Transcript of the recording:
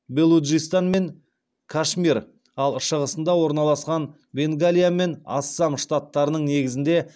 белуджистан мен кашмир ал шығысында орналасқан бенгалия мен ассам штаттарының негізінде